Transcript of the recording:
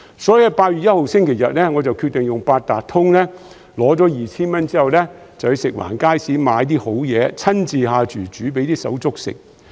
所以，在8月1日星期日，我決定用八達通卡領取 2,000 元消費券，之後前往食環署轄下街市買"好嘢"，親自下廚煮給"手足"吃。